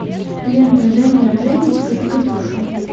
лента женя женечка и катюша